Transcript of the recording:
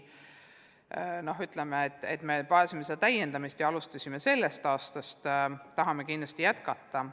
Vajasime täiendamist ja seda me alustasimegi, sellel aastal tahame kindlasti jätkata.